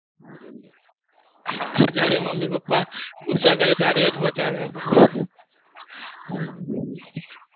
હમ જયારે mummy papa ગુસ્સા કરે ત્યારે એ જ બચાવે આપણને